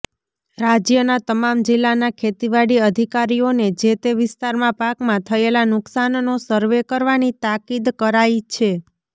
રાજ્યના તમામ જિલ્લાના ખેતીવાડી અધિકારીઓને જેતે વિસ્તારમાં પાકમાં થયેલા નુકસાનનો સર્વે કરવાની તાકીદ કરાઇ છે